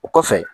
O kɔfɛ